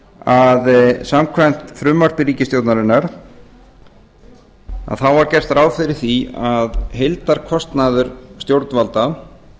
að samkvæmt frumvarpi ríkisstjórnarinnar var gert ráð fyrir því að heildarkostnaður stjórnvalda